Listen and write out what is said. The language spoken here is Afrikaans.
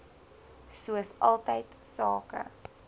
soos altyd sake